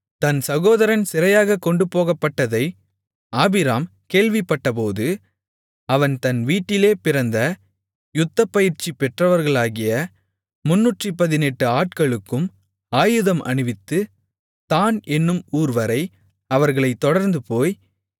தன் சகோதரன் சிறையாகக் கொண்டுபோகப்பட்டதை ஆபிராம் கேள்விப்பட்டபோது அவன் தன் வீட்டிலே பிறந்த யுத்தப்பயிற்சி பெற்றவர்களாகிய 318 ஆட்களுக்கும் ஆயுதம் அணிவித்து தாண் என்னும் ஊர்வரை அவர்களைத் தொடர்ந்துபோய்